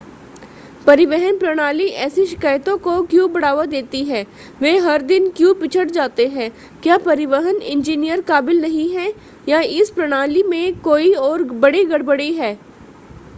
परिवहन प्रणाली ऐसी शिकायतों को क्यों बढ़ावा देती है वे हर दिन क्यों पिछड़ जाते हैं क्या परिवहन इंजीनियर काबिल नहीं हैं या इस प्रणाली में कोई और बड़ी गड़बड़ी है